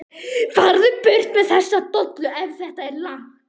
FARÐU BURT MEÐ ÞESSA DOLLU EF ÞETTA ER LAKK.